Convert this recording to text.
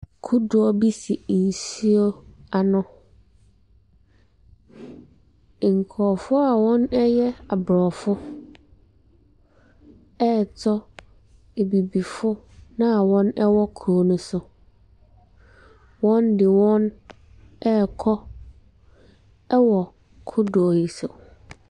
Kodoɔ bi si nsuo ano. Nkurɔfoɔ a wɔyɛ aborɔfo ɛretɔ abibifo no a wɔwɔ kuro ne so. Wɔde wɔn ɛrekɔ wɔ kodoɔ yi so.